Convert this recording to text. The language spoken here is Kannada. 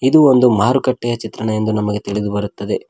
ಇದು ಒಂದು ಮಾರುಕಟ್ಟೆಯ ಚಿತ್ರಣ ಎಂದು ನಮಗೆ ತಿಳಿದು ಬರುತ್ತದೆ.